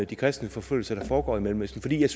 de kristenforfølgelser der foregår i mellemøsten fordi jeg